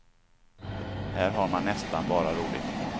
Här har man nästan bara roligt.